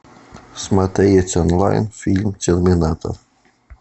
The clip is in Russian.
смотреть онлайн фильм терминатор